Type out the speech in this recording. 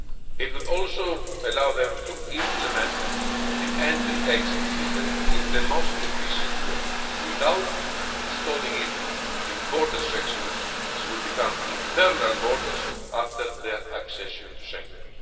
It would also allow them to implement the Entry-Exit System in the most efficient way, without installing it in border sections which would become internal borders after their accession to Schengen.